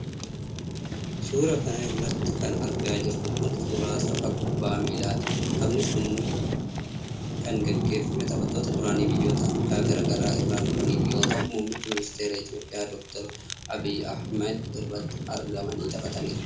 Suura kana irratti kan argaa jirru kun, suura tapha kubbaa miilaati. Taphni kun kan gaggeefamee, taphattoota duraanii, biyyoota afriikaa garaa garaa irraa dhufaniin yoo ta'u ,muummichi ministeeraa Itoophiyaa, Doctor Abiy Ahimad irratti argamanii taphataniiru.